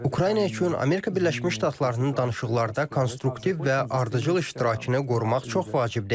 Ukrayna üçün Amerika Birləşmiş Ştatlarının danışıqlarda konstruktiv və ardıcıl iştirakını qorumaq çox vacibdir.